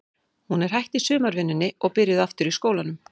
Hún er hætt í sumarvinnunni og er byrjuð aftur í skólanum.